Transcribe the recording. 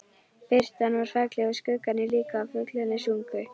Birtan var falleg og skuggarnir líka og fuglarnir sungu.